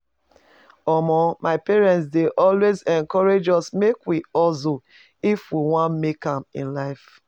Omo my parent dey always encourage us make we hustle if we wan make am in life